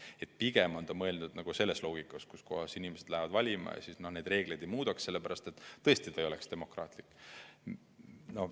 Nii et pigem on mõeldud seda, et kui valima lähevad tavalised inimesed, siis reegleid ei muudeta, sellepärast et see poleks demokraatlik.